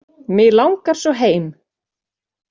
Mig langar svo heim.